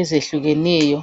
ezehlukeneyo.